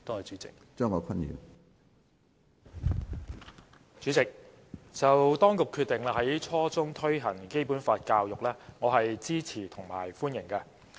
主席，對於當局決定在初中推行《基本法》教育，我是支持和歡迎的。